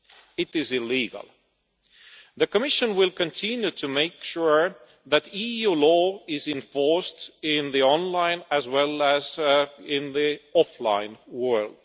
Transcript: It is illegal. The Commission will continue to make sure that EU law is enforced in the online, as well as in the offline, world.